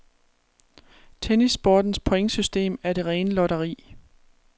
Tennissportens pointsystem er det rene lotteri.